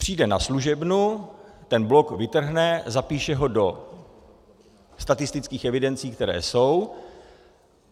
Přijde na služebnu, ten blok vytrhne, zapíše ho do statistických evidencí, které jsou.